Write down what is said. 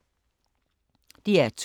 DR2